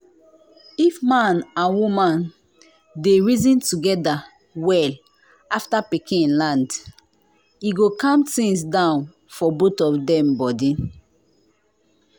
if man and woman dey reason together well after pikin land e go calm things down for both of dem body.